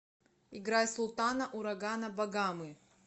играй султана урагана багамы